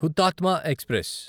Hutatma express